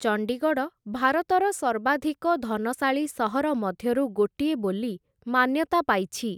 ଚଣ୍ଡୀଗଡ଼, ଭାରତର ସର୍ବାଧିକ ଧନଶାଳୀ ସହର ମଧ୍ୟରୁ ଗୋଟିଏ ବୋଲି ମାନ୍ୟତା ପାଇଛି ।